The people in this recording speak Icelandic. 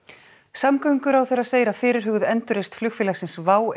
samgönguráðherra segir að fyrirhuguð endurreisn flugfélagsins WOW